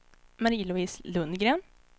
Marie-Louise Lundgren